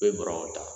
U bɛ bɔrɔw ta